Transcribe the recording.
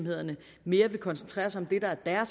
er det herre